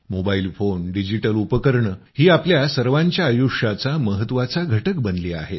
mobile phone digital उपकरणं ही आपल्या सर्वांच्या आयुष्याचा महत्त्वाचा घटक बनलेत